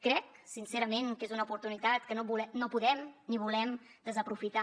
crec sincerament que és una oportunitat que no podem ni volem desaprofitar